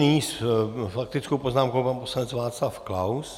Nyní s faktickou poznámkou pan poslanec Václav Klaus.